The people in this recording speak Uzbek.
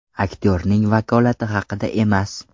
Aktyorning vakolati haqida emas.